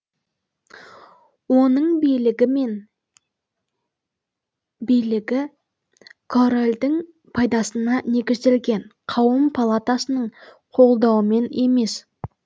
оның билігі мен билігі корольдің пайдасына негізделген қауым палатасының қолдауымен емес